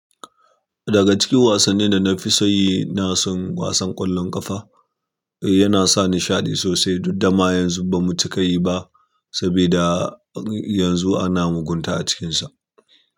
Daga cikin wasannin da na fi so yi, na son wasan ƙwallon ƙafa. Yana sa nishaɗi sosai, dun dama yanzu ba mu cika yi ba, sabida yanzu ana mugunta a cikinsa.